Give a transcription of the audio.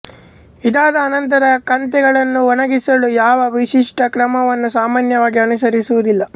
ಇದಾದ ಅನಂತರ ಕಂತೆಗಳನ್ನು ಒಣಗಿಸಲು ಯಾವ ವಿಶಿಷ್ಟ ಕ್ರಮವನ್ನೂ ಸಾಮಾನ್ಯವಾಗಿ ಅನುಸರಿಸುವುದಿಲ್ಲ